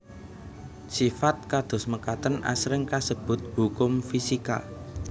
Sifat kados mekaten asring kasebut hukum fisika